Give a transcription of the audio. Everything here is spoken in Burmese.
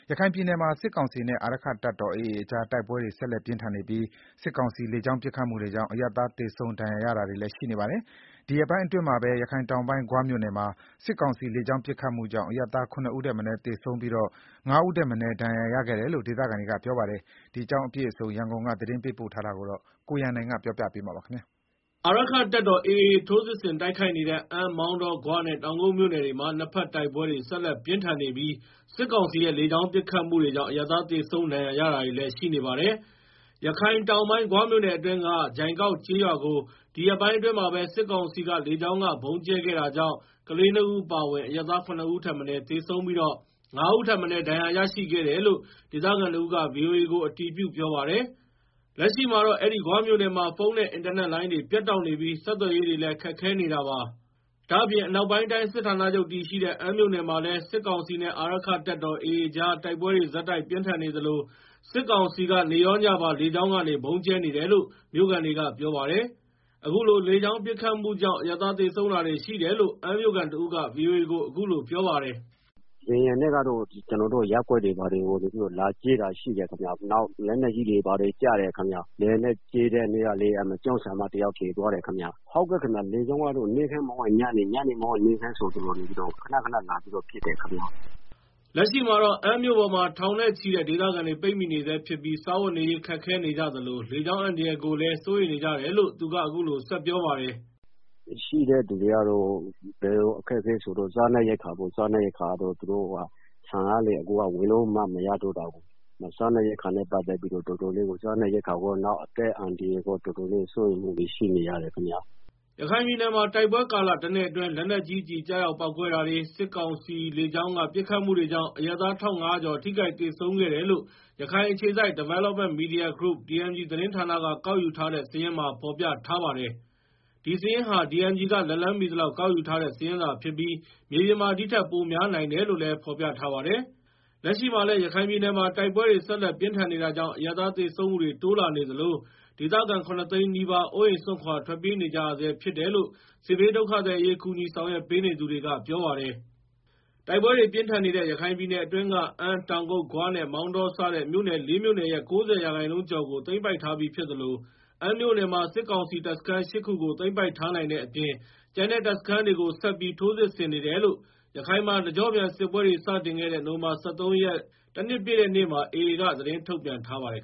ရခိုင်ပြည်နယ်မှာ စစ်ကောင်စီနဲ့ အာရက္ခတပ်တော် AA ကြား တိုက်ပွဲတွေ ဆက်လက်ပြင်းထန်နေပြီး စစ်ကောင်စီလေကြောင်း ပစ်ခတ်မှုတွေကြောင့် အရပ်သား သေဆုံးဒဏ်ရာရတာတွေလည်း ရှိနေပါတယ်။ ဒီရက်ပိုင်းအတွင်းမှာပဲရခိုင်တောင်ပိုင်း ဂွမြို့နယ်မှာ စစ်ကောင်စီလေကြောင်းပစ်ခတ်မှု ကြောင့် အရပ်သား (၇) ဦးထက်မနည်းသေဆုံးပြီး (၅) ဦးထက်မနည်း ဒဏ်ရာရခဲ့ကြတယ်လို့ ဒေသခံတွေက ပြောပါတယ်။ ဒီအကြောင်းအပြည့်အစုံ ရန်ကုန်က သတင်းပေးပို့ထားပါတယ်။ အာရက္ခတပ်တော် AA ထိုးစစ်ဆင်တိုက်ခိုက်နေတဲ့ အမ်း၊ မောင်တော၊ ဂွနဲ့ တောင်ကုတ်မြို့နယ်တွေမှာ တိုက်ပွဲတွေဆက်လက်ပြင်းထန်နေပြီး စစ်ကောင်စီရဲ့ လေကြောင်းပစ်ခတ်မှုတွေကြောင့် အရပ်သား သေဆုံး၊ ဒဏ်ရာရတာတွေလည်း ရှိနေပါတယ်။ ရခိုင်တောင်ပိုင်း ဂွမြို့နယ်အတွင်းက ဂျိုင်ကောက်ကျေးရွာကို ဒီရက်ပိုင်းအတွင်းမှာပဲ စစ်ကောင်စီ လေကြောင်းကဗုံးကြဲခဲ့တာကြောင့် ကလေးနှစ်ဦးအပါအဝင် အရပ်သား (၇) ဦးထက်မနည်း သေဆုံးပြီး (၅) ဦးထက်မနည်း ဒဏ်ရာရရှိခဲ့တယ်လို့ ဒေသခံတဦးက ဗွီအိုအေကို အတည်ပြုပြောပါတယ်။ လက်ရှိမှာတော့ အဲဒီ ဂွမြို့နယ်မှာ ဖုန်းနဲ့ အင်တာနက်လိုင်းတွေ ပြတ်တောက်နေပြီး ဆက်သွယ်ရေးတွေလည်း ခက်ခဲနေတာပါ။ ဒါ့အပြင် အနောက်ပိုင်းတိုင်းစစ်ဌာနချုပ်တည်ရှိတဲ့ အမ်းမြို့နယ်မှာလည်း စစ်ကောင်စီနဲ့ အာရက္ခတပ်တော် AA ကြားတိုက်ပွဲတွေ ဆက်တိုက်ပြင်းထန်နေသလို စစ်ကောင်စီက နေ့ရောညပါ လေကြောင်းကနေ ဗုံးကြဲနေတယ်လို့ မြို့ခံတွေကပြောပါတယ်။ အခုလို လေကြောင်းပစ်ခတ်မှု ကြောင့် အရပ်သား သေဆုံးတာတွေလည်းရှိတယ်လို့ အမ်းမြို့ခံတဦးက ဗွီအိုအေကို အခုလို ပြောပါတယ်။ “လေယာဉ်နဲ့တော့ ကျနော်တို့ ရပ်ကွက်တွေကို ဗုံးလာကြဲတာရှိတယ်။ နောက် လက်နက်ကြီးတွေ ကျတာရှိတယ်ခင်ဗျ။လေယာဉ်နဲ့လာကြဲတဲ့ တနေ့ကဆိုရင် ကျောင်းဆရာမတဦး သေသွားတာရှိတယ်။ လေကြောင်းကနေ မနက်မဟုတ်ရင်ညနေ၊ ညနေမဟုတ်ရင် မနက် နေ့တိုင်း လာကြဲနေပါတယ်။” လက်ရှိမှာတော့ အမ်းမြို့ပေါ်မှာ ထောင်နဲ့ချီတဲ့ ဒေသခံတွေ ပိတ်မိနေဆဲဖြစ်ပြီး စားဝတ်နေရေးခက်ခဲ နေကြသလိုလေကြောင်းအန္တရာယ်တွေကိုလည်း စိုးရိမ်နေကြတယ်လို့ သူက အခုလိုဆက်ပြောပါတယ်။ "ရှိနေတဲ့သူတွေရဲ့ အခက်အခဲကတော့ စားနပ်ရိက္ခာပေါ့။ အခုက ဆန်ကလည်း ဝယ်လို့လည်းမရတော့ ဘူးဆိုတော့လေ။စားနပ်ရိက္ခာနဲ့ပတ်သက်ပြီး တော်တော်ခက်ခဲနေရတယ်။ နောက် အသက်အန္တရာယ်နဲ့ ပတ်သက်ပြီးလည်း တော်တော်စိုးရိမ်နေရတယ်။" ရခိုင်ပြည်နယ်မှာ တိုက်ပွဲကာလတနှစ်အတွင်း လက်နက်ကြီးကျည် ကျရောက်ပေါက်ကွဲတာတွေနဲ့ စစ်ကောင်စီလေကြောင်းက ပစ်ခတ်မှုတွေကြောင့် အရပ်သား ၁,၅ဝဝ ကျော် ထိခိုက်သေဆုံးခဲ့တယ်လို့ ရခိုင်အခြေစိုက်Development Media Group(DMG) သတင်းဌာနကကောက်ယူထားတဲ့ စာရင်းမှာ ဖော်ပြထားပါတယ်။ ဒီစာရင်းဟာDMG က လက်လှမ်းမှီသလောက်ကောက်ယူထားတဲ့ စာရင်း သာဖြစ်ပြီး မြေပြင်မှာ ဒီထက်ပိုများနိုင်တယ်လို့လည်းဖော်ပြထားပါတယ်။ လက်ရှိမှာလည်း ရခိုင်ပြည်နယ်မှာ တိုက်ပွဲတွေ ဆက်လက်ပြင်းထန်နေတာကြောင့် အရပ်သား သေဆုံးမှုတိုးလာနေသလို ဒေသခံ (၇) သိန်းနီးပါး အိုးအိမ်စွန့်ခွာ ထွက်ပြေးနေကြရဆဲဖြစ်တယ်လို့ စစ်ဘေးဒုက္ခသည်အရေး ကူညီဆောင်ရွက်ပေးနေသူတွေက ပြောပါတယ်။ တိုက်ပွဲတွေ ပြင်းထန်နေတဲ့ ရခိုင်ပြည်နယ်အတွင်းက အမ်း၊ တောင်ကုတ်၊ ဂွနဲ့ မောင်တော စတဲ့ မြို့နယ် (၄) မြို့နယ်ရဲ့ ၉ဝ ရာခိုင်နှုန်းကျော်ကို သိမ်းပိုက်ထားပြီးဖြစ်သလို အမ်းမြို့နယ်မှာ စစ်ကောင်စီ တပ်စခန်း ၈ ခုကို သိမ်းပိုက်ထားနိုင်တဲ့အပြင် ကျန်တဲ့တပ်စခန်းတွေကို ဆက်ပြီး ထိုးစစ်ဆင်နေတယ်လို့ ရခိုင်မှာ တကျော့ပြန်စစ်ပွဲတွေ စတင်ခဲ့တဲ့ နိုဝင်ဘာ၁၃ ရက် တနှစ်ပြည့်တဲ့နေ့မှာ AA က သတင်းထုတ်ပြန်ထားပါတယ်